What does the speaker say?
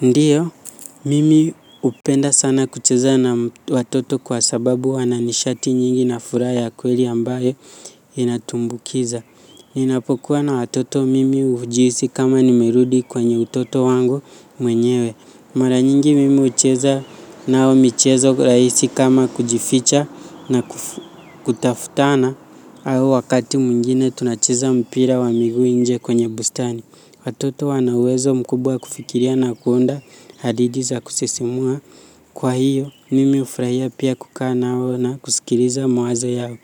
Ndiyo, mimi hupenda sana kucheza na watoto kwa sababu wana nishati nyingi na furaha ya kweli ambayo inatumbukiza. Ninapokuwa na watoto mimi hujiisi kama nimerudi kwenye utoto wangu mwenyewe. Mara nyingi mimi hucheza nao michezo raisi kama kujificha na kutafutana au wakati mwingine tunacheza mpira wa miguu inje kwenye bustani. Watoto wana uwezo mkubwa kufikiria na kuunda hadidi za kusisimua. Kwa hiyo, nimi hufrahia pia kukaa nao na kusikiriza mawaza yao.